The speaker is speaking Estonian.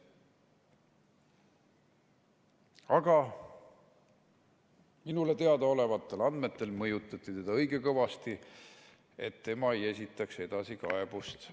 Aga minule teadaolevatel andmetel mõjutati teda õige kõvasti, et tema ei esitataks edasikaebust.